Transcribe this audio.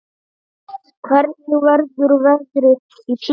Hvernig verður veðrið í sumar?